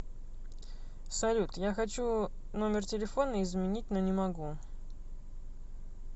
салют я хочу номер телефона изменить но не могу